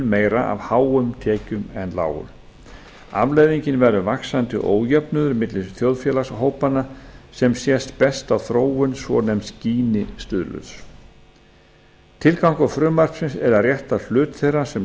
meira af háum tekjum en lágum afleiðingin verður vaxandi ójöfnuður milli þjóðfélagshópanna sem sést best á þróun svonefnds gini stuðuls tilgangur frumvarpsins er að rétta hlut þeirra sem